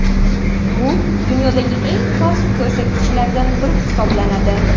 Bu dunyodagi eng past ko‘rsatkichlardan biri hisoblanadi.